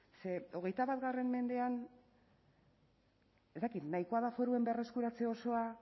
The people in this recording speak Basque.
ze hogeita bat mendean ez dakit nahikoa da foruen berreskuratze osoa